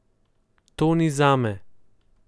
To ni zame.